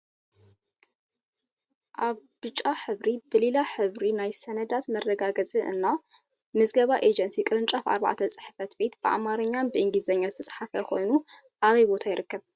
ኣብ ብጫ ሕብሪ ብሊላ ሕብሪ ናይ ሰነዳት መረጋገፂ እና ምዝገባ ኤጀንሲ ቅርጫፍ 4 ፅ/ቤት በኣማርኛ እና ብእንግሊዝኛ ዝተፅሓፈ ኮይኑ ኣበይ ቦታ ይርከብ?